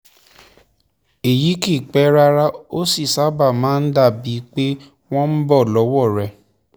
èyí kìí pẹ́ rárá ó sì sábà máa ń dàbíi pé wọ́n ń bọ́ lọ́wọ́ rẹ̀